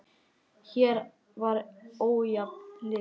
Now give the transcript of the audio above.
Hér var ójafn leikur.